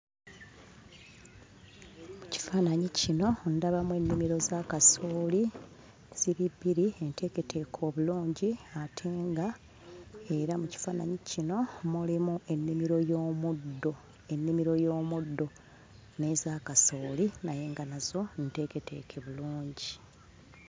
Mu kifaananyi kino ndabamu ennimiro za kasooli ziri bbiri, enteeketeeke obulungi ate nga era mu kifaananyi kino mulimu ennimiro y'omuddo, ennimiro y'omuddo n'eza kasooli naye nga nazo nteeketeeke bulungi.